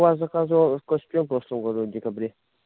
у вас заказывал костюм в прошлом году в декабре